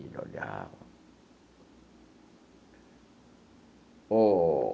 Ele olhava ô.